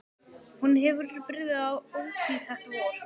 Hún hefur byrjað á því þetta vor.